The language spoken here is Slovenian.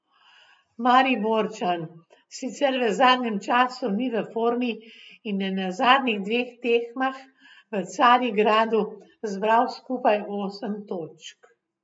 Mariborčan sicer v zadnjem času ni v formi in je na zadnjih dveh tekmah v Carigradu zbral skupaj osem točk.